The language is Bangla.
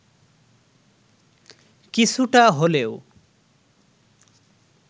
কিছুটা হলেও